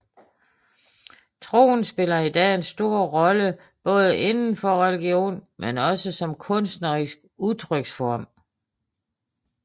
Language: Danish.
Troen spiller i dag en stor rolle både indenfor religion men også som kunstnerisk udtryksform